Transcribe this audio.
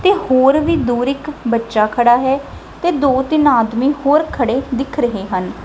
ਤੇ ਹੋਰ ਵੀ ਦੂਰ ਇੱਕ ਬੱਚਾ ਖੜਾ ਹੈ ਤੇ ਦੋ ਤਿੰਨ ਆਦਮੀ ਹੋਰ ਖੜੇ ਦਿਖ ਰਹੇ ਹਨ।